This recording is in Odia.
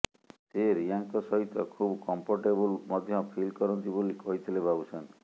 ସେ ରୀୟାଙ୍କ ସହିତ ଖୁବ୍ କମ୍ଫର୍ଟବୁଲ୍ ମଧ୍ୟ ଫିଲ୍ କରନ୍ତି ବୋଲି କହିଥିଲେ ବାବୁସାନ